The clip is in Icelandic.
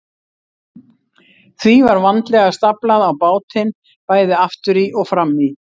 Því var vandlega staflað á bátinn, bæði aftur í og fram í.